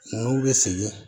N'u bɛ segin